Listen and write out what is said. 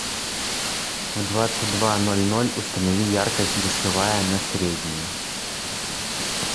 в двадцать два ноль ноль установи яркость душевая на среднюю